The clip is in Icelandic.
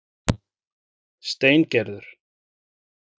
Steingerður